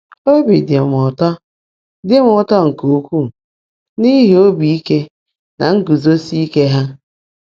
Obi dị m ụtọ dị m ụtọ nke ukwuu n’ihi obi ike na nguzosi ike ha.